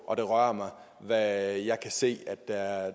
og det rører mig hvad jeg kan se at der